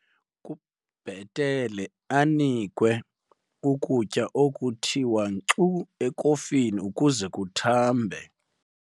Kubhetele anikwe ukutya okuthiwa nkxu ekofini ukuze kuthambe.